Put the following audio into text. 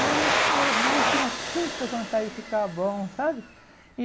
e meu ir meu irmão tinha tanta vontade de ficar bom, sabe? E